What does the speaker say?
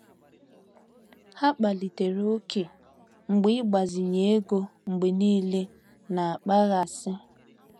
Ha kpalitere ókè mgbe ịgbazinye ego mgbe niile na-akpaghasị.